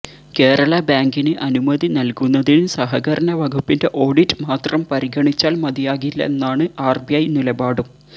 കേരള ബാങ്കിന് അനുമതി നൽകുന്നതിന് സഹകരണ വകുപ്പിന്റെ ഓഡിറ്റ് മാത്രം പരിഗണിച്ചാൽ മതിയാകില്ലെന്നാണ് ആർബിഐ നിലപാടും